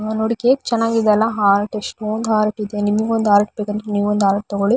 ಆಹ್ಹ್ ನೋಡಿ ಕೇಕ್ ಚೆನ್ನಾಗಿದೆ ಅಲ ಎಷ್ಟೊಂದ್ ಹಾರ್ಟ್ ಇದೆ ನಿಮಗೊಂದ್ ಹಾರ್ಟ್ ಬೇಕಂದ್ರೆ ನೀವೊಂದು ಹಾರ್ಟ್ ತಕೊಳ್ಳಿ.